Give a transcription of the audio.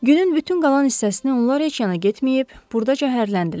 Günün bütün qalan hissəsini onlar heç yana getməyib, burdaca hərrləndilər.